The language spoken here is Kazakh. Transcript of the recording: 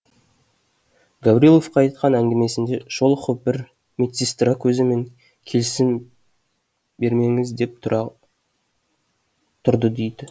гавриловқа айтқан әңгімесінде шолохов бір медсестра көзімен келісім бермеңіз деп тұрды дейді